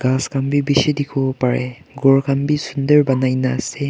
ghas khan bi bishi dikhiwo pareh ghor khan bi sundur danaina ase.